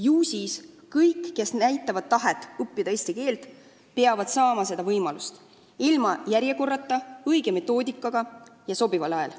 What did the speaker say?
Ju siis peavad kõik, kes näitavad üles tahet õppida eesti keelt, saama seda teha ilma järjekorrata, õige metoodikaga ja sobival ajal.